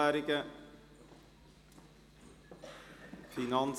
– Das ist nicht der Fall.